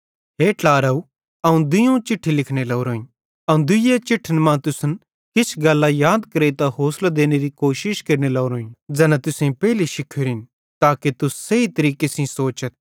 हे ट्लारव अवं दुइयोवं चिट्ठी लिखने लोरोईं अवं दुइये चिट्ठन मां तुसन किछ गल्लां याद करेइतां होसलो देनेरी कोशिश केरने लोरोईं ज़ैना तुसेईं पेइली शिखोरिन ताके तुस सही तरीके सेइं सोचथ